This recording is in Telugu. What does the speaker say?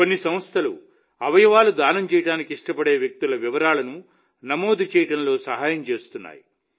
కొన్ని సంస్థలు అవయవాలు దానం చేయడానికి ఇష్టపడే వ్యక్తుల వివరాలను నమోదు చేయడంలో సహాయం చేస్తున్నాయి